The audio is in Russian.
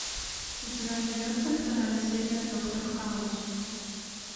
у тебя найдется вторая серия доктор хаус